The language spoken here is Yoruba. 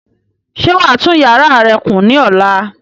Ṣé wàá tún yàrá rẹ kùn ní ọ̀la?